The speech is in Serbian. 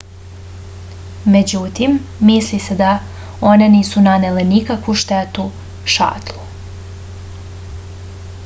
međutim misli se da one nisu nanele nikakvu štetu šatlu